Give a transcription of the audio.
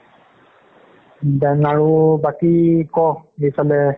then আৰু, বাকি ক সেইফালে